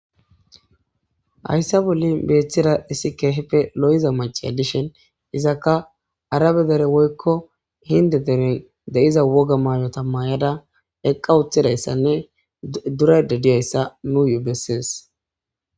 Hayssa boli beeththida issi keeheppe lo'iza mace a dishen izakka arabe dere woykko hinde deren de'iza woga maayo tammayada eqqa wuthidayssanne durede diyayssa nu yu bessees.